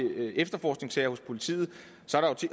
med efterforskningssager hos politiet